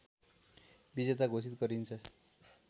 विजेता घोषित गरिन्छ